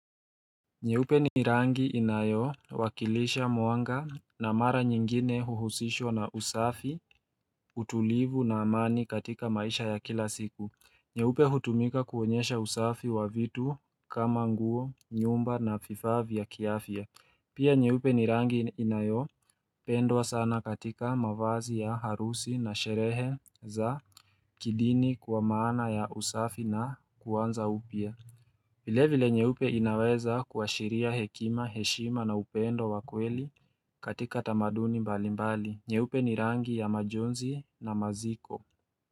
Nyeupe ni rangi inayo wakilisha mwanga na mara nyingine huhusishwa na usafi, utulivu na amani katika maisha ya kila siku. Nyeupe hutumika kuonyesha usafi wa vitu kama nguo, nyumba na fifaa vya kiafya. Pia nyeupe ni rangi inayopendwa sana katika mavazi ya harusi na sherehe za kidini kwa maana ya usafi na kuanza upya. Vile vile nyeupe inaweza kuashiria hekima, heshima na upendo wa kweli katika tamaduni mbali mbali. Nyeupe ni rangi ya majonzi na maziko.